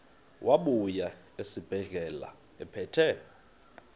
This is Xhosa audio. wabuya esibedlela ephethe